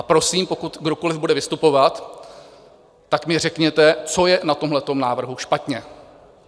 A prosím, pokud kdokoliv bude vystupovat, tak mi řekněte, co je na tomhle návrhu špatně.